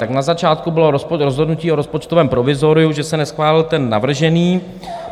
Tak na začátku bylo rozhodnutí o rozpočtovém provizoriu, že se neschválil ten navržený.